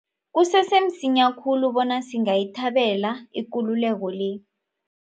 Kusese msinya khulu bona singayithabela ikululeko le.